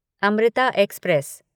Amrita express